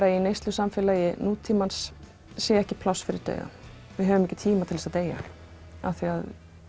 að í neyslusamfélagi nútímans sé ekki pláss fyrir dauðann við höfum ekki tíma til þess að deyja af því